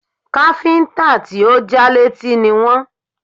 Káfíńtà tí ò já létí ni wọ́n